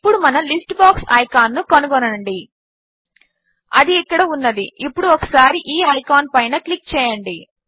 ఇప్పుడు మన list box icon ను కనుగొనండి అది ఇక్కడ ఉన్నది ఇప్పుడు ఒకసారి ఈ ఐకాన్ పైన క్లిక్ చేయండి